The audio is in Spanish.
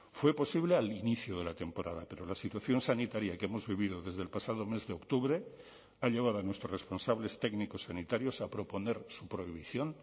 fue posible al inicio de la temporada pero la situación sanitaria que hemos vivido desde el pasado mes de octubre ha llevado a nuestros responsables técnicos sanitarios a proponer su prohibición